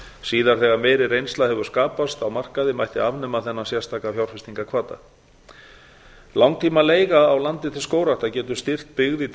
síðar þegar meiri reynsla hefur skapast á markaði mætti afnema þennan sérstaka fjárfestingarhvata langtímaleiga á landi til skógræktar getur styrkt byggð í